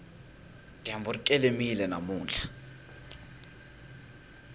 dyambu ri kelemile namuntlha